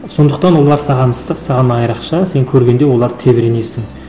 сондықтан олар саған ыстық саған айрықша сен көргенде оларды тебіренесің